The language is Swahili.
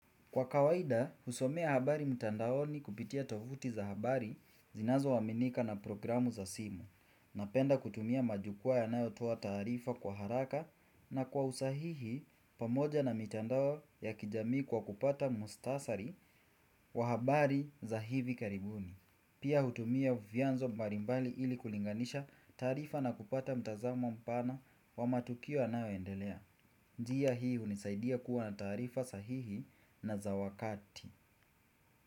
Kwa kawaida, husomea habari mtandaoni kupitia tovuti za habari zinazoaminika na programu za simu, napenda kutumia majukwa yanayotoa tarifa kwa haraka na kwa usahihi pamoja na mitandao ya kijami kwa kupata mustasari wa habari za hivi karibuni. Pia hutumia vyanzo mbalimbali ili kulinganisha tarifa na kupata mtazamo mpana wa matukio yanayoendelea. Njia hii hunisaidia kuwa na tarifa sahihi na za wakati.